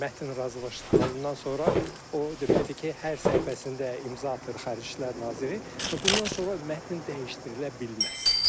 Mətn razılaşdırılandan sonra o deməkdir ki, hər səhifəsində imza atır Xarici İşlər Naziri və bundan sonra mətn dəyişdirilə bilməz.